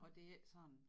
Og det er ikke sådan